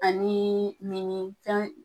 Ani minni fɛn